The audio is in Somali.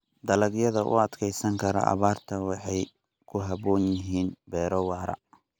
Dalagyada u adkeysan kara abaarta waxay ku habboon yihiin beero waara.